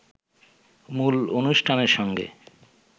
মূল অনুষ্ঠানের সঙ্গে